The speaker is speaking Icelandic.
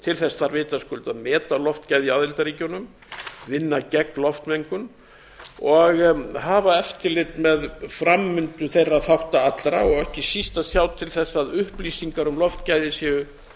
til þess þarf vitaskuld að meta loftgæði í aðildarríkjunum vinna gegn loftmengun og hafa eftirlit með framvindu þeirra þátta allra ekki síst að sjá til þess að upplýsingar um loftgæði séu